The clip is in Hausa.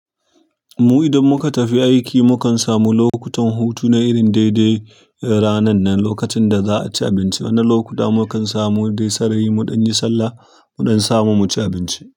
Mu idan muka tafi aiki, mukan samu lokutan hutu na irin daidai ranan nan. Lokacin da za'a ci abinci, wannan lokuta mukan samu dai sarari mu ɗan yi sallah mu ɗan samu muci abinci.